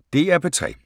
DR P3